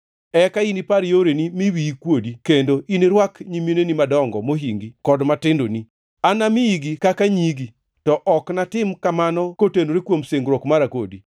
Eka inipar yoreni mi wiyi kuodi, kendo inirwak nyimineni madongo mohingi kod matindoni. Anamiyigi kaka nyigi, to ok natim kamano kotenore kuom singruok mara kodi.